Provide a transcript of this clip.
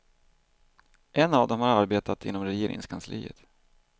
En av dem har arbetat inom regeringskansliet.